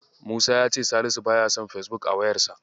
Musa ya ce Salisu baya son Fesbuk a wayarsa.